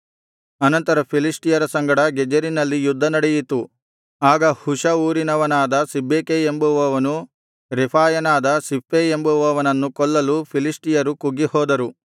ಅನಂತರ ಫಿಲಿಷ್ಟಿಯರ ಸಂಗಡ ಗೆಜೆರಿನಲ್ಲಿ ಯುದ್ಧ ನಡೆಯಿತು ಆಗ ಹುಷ ಊರಿನವನಾದ ಸಿಬ್ಬೆಕೈ ಎಂಬುವವನು ರೆಫಾಯನಾದ ಸಿಪ್ಪೈ ಎಂಬುವವನನ್ನು ಕೊಲ್ಲಲು ಫಿಲಿಷ್ಟಿಯರು ಕುಗ್ಗಿಹೋದರು